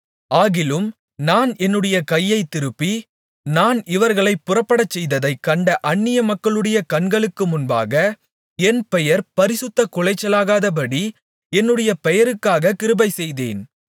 ஆகிலும் நான் என்னுடைய கையைத்திருப்பி நான் இவர்களை புறப்படச்செய்ததைக் கண்ட அந்நியமக்களுடைய கண்களுக்கு முன்பாக என் பெயர் பரிசுத்தக்குலைச்சலாகாதபடி என்னுடைய பெயருக்காக கிருபைசெய்தேன்